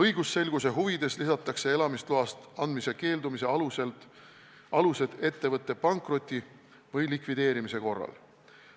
Õigusselguse huvides lisatakse seadusesse elamisloa andmisest keeldumise alused ettevõtte pankroti või likvideerimise korral.